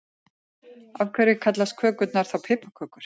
Af hverju kallast kökurnar þá piparkökur?